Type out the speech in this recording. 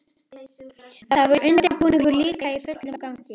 Þar var undirbúningur líka í fullum gangi.